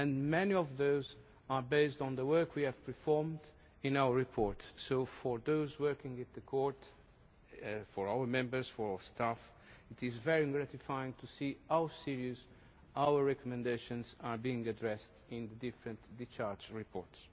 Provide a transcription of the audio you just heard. Many of those are based on the work we have performed in our reports, so for those working at the Court for our Members, for our staff it is very gratifying to see how seriously our recommendations are being addressed in the different discharge reports.